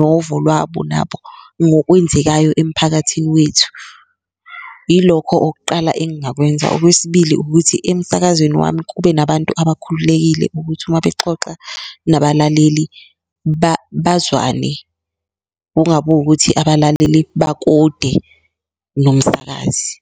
novo lwabo nabo ngokwenzekayo emphakathini wethu, yilokho oqala engakwenza. Okwesibili, ukuthi emsakazweni wami kube nabantu abakhululekile ukuthi uma bexoxa nabalaleli bazwane kungabi wukuthi abalaleli bakude nomsakazi.